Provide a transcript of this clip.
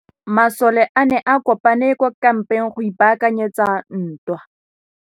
Masole a ne a kopane kwa kampeng go ipaakanyetsa ntwa.